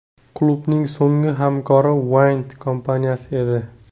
Klubning so‘nggi hamkori Wind kompaniyasi edi.